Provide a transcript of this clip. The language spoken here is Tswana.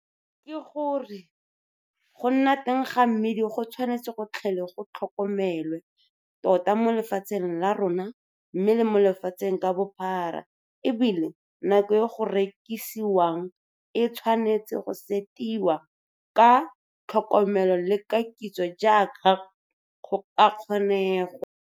Ke go re go nna teng ga mmidi go tshwanetse go tlhole go tlhokomelwe tota mo lefatsheng la rona mme le mo lefatsheng ka bophara e bile nako e go rekisiwang e tshwanetse go setiwa ka tlhokomelo le ka kitso jaaka go ka kgonegwa.